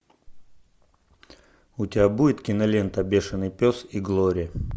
у тебя будет кинолента бешенный пес и глория